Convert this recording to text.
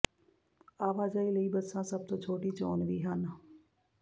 ਆਵਾਜਾਈ ਲਈ ਬੱਸਾਂ ਸਭ ਤੋਂ ਛੋਟੀ ਚੋਣ ਵੀ ਹਨ